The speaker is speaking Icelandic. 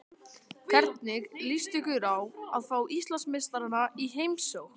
Hvernig líst ykkur á að fá Íslandsmeistarana í heimsókn?